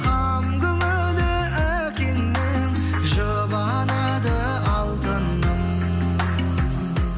қам көңілі әкеңнің жұбанады алтыным